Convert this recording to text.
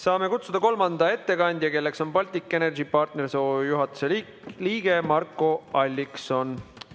Saame kutsuda kolmanda ettekandja, Baltic Energy Partners OÜ juhatuse liikme Marko Alliksoni.